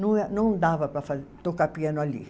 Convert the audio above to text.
Não eh, não dava para fa, tocar piano ali.